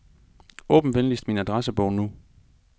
Åbn venligst min adressebog nu.